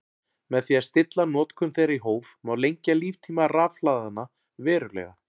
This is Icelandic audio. Með því að stilla notkun þeirra í hóf má lengja líftíma rafhlaðanna verulega.